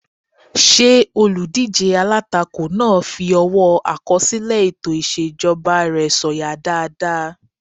Ṣé olùdíjé alátakò náà fi ọwọ́ àkọsílẹ̀ ètò ìṣèjọba rẹ̀ sọ̀yà dáadáa?